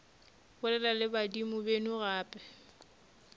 bolela le badimo beno gape